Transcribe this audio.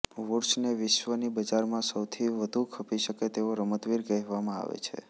વુડ્સને વિશ્વની બજારમાં સૌથી વધુ ખપી શકે તેવો રમતવીર કહેવામાં આવે છે